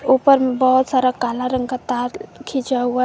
ऊपर में बहोत सारा काला रंग का तार खींचा हुआ है।